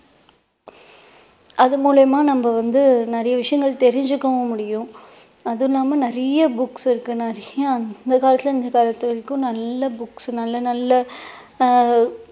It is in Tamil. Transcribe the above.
அது மூலியமா நம்ம வந்து நிறைய விஷயங்கள் தெரிஞ்சுக்கவும் முடியும் அது இல்லாம நிறைய books இருக்கு நிறைய அந்த காலத்துல இருந்து இந்த காலத்து வரைக்கும் நல்ல books நல்ல நல்ல